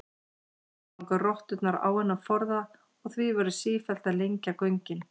Síðan ganga rotturnar á þennan forða og því verður sífellt að lengja göngin.